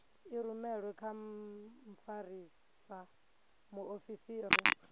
i rumelwe kha mfarisa muofisiri